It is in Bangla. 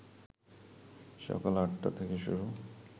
সকাল ৮টা থেকে শুরু